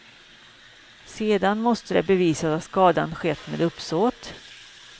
Sedan måste det bevisas att skadan skett med uppsåt.